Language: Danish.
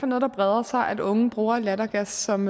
noget der breder sig at unge bruger lattergas som